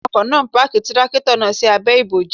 Awakọ̀ náà páàkì Tírákìtọ̀ náà sí abẹ́ ibòji.